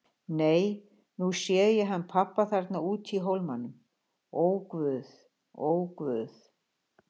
Nei, nú sé ég hann pabba þarna úti í hólmanum, ó guð, ó guð.